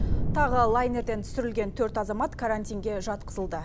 тағы лайнерден түсірілген төрт азамат карантинге жатқызылды